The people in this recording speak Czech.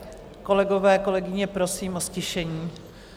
Kolegové, kolegyně, prosím o ztišení.